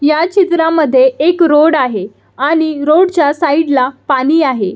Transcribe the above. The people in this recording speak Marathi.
ह्या चित्रामध्ये एक रोड आहे आणि रोडच्या साइडला पाणी आहे.